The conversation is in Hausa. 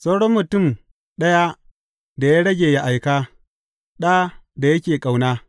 Sauran mutum ɗaya da ya rage ya aika, ɗa, da yake ƙauna.